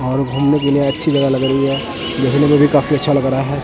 और घूमने के लिए अच्छी जगह लग रही है देखने को भी काफी अच्छा लग रहा है।